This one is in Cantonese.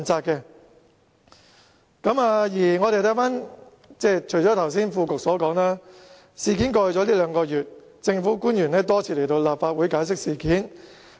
除了副局長剛才所說，在事件發生後的兩個月，政府官員已多次來到立法會解釋。